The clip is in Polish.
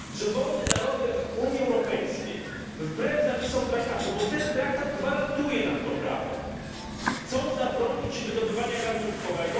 Że wolne narody Unii Europejskiej, wbrew zapisom traktatu bo ten traktat gwarantuje nam to prawo chcą zabronić wydobywania gazu łupkowego?